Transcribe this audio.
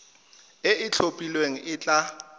e e itlhophileng e tla